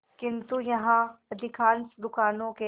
किंतु यहाँ अधिकांश दुकानों के